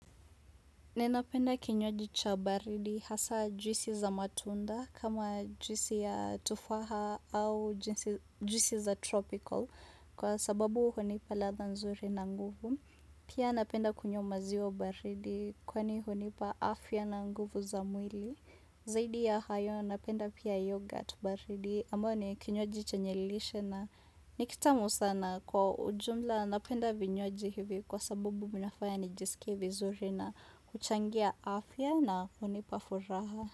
Ninapenda kinywaji cha baridi hasa juisi za matunda kama juisi ya tufaha au jinsi juisi za tropical kwa sababu hunipa ladha nzuri na nguvu. Pia napenda kunywa maziwa baridi kwani hunipa afya na nguvu za mwili. Zaidi ya hayo napenda pia yogurt baridi ambayo ni kinywaji chenye lishe na ni kitamu sana kwa ujumla napenda vinywaji hivi kwa sababu vinafanya nijisikie vizuri na kuchangia afya na hunipa furaha.